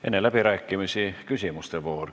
Enne läbirääkimisi on küsimuste voor.